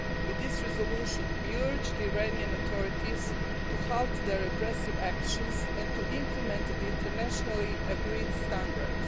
With this resolution, we urge the Iranian authorities to halt their repressive actions and to implement the internationally agreed standards.